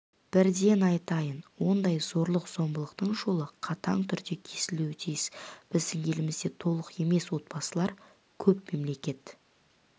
бірден айтайын ондай зорлық-зомбылықтың жолы қатаң түрде кесілуі тиіс біздің елімізде толық емес отбасылар көп мемлекет